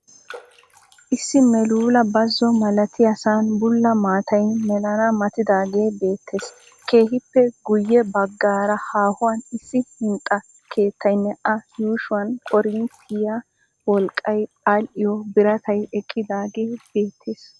Issi meeluula bazo malatiyaasan bulla maattay melana mattidaagee beettees. Keehippe guyye bagaara haahuwan issi hinxxa keettaynne a yuushsuwan korinttiya wolqqay aadhdhiyo biratay eqqidaagee beettees.